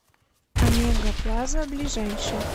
омега плаза ближайший